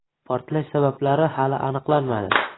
Portlash sabablari hali aniqlanmadi.